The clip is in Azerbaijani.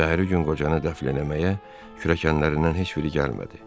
Səhəri gün qocanı dəfn eləməyə kürəkənlərindən heç biri gəlmədi.